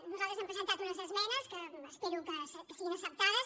nosaltres hem presentat unes esmenes que espero que siguin acceptades